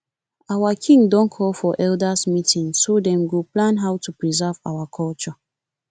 our king don call for elders meeting so them go plan how to preserve our culture